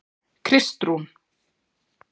Kristrún